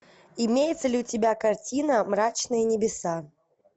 имеется ли у тебя картина мрачные небеса